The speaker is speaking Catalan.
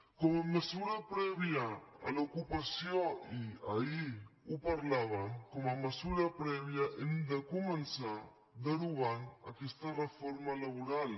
com a mesura prèvia a l’ocupació i ahir ho parlàvem com a mesura prèvia hem de començar derogant aquesta reforma laboral